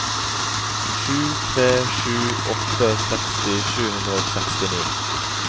sju tre sju åtte seksti sju hundre og sekstini